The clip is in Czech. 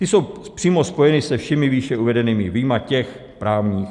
Ty jsou přímo spojeny se všemi výše uvedenými, vyjma těch právních.